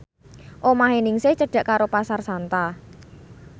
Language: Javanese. omahe Ningsih cedhak karo Pasar Santa